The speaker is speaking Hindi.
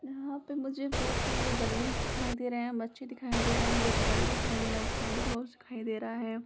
यहां पे मुझे बहुत सारे बैलून्स दिखाई दे रहे हैबच्चेदिखाई दे रहे है कुछ बड़े दिखाई दे रहे है कुछ सेंटा क्लॉज दिखाई दे रहे है।